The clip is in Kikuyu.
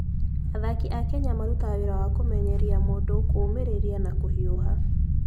Athaki a Kenya marutaga wĩra wa kũmenyeria mũndũ kũũmĩrĩria na kũhiũha.